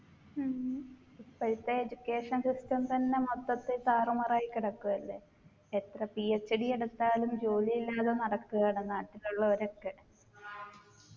ഉം ഇപ്പോഴത്തെ education system തന്നെ മൊത്തത്തിൽ താറുമാറായി കിടക്കുവല്ലേ എത്ര PhD എടുത്താലും ജോലിയില്ലാതെ നടക്കുകയാണ് നാട്ടിലുള്ളോരൊക്കെ